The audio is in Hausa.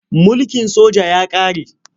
Mulkin soja ya ƙare.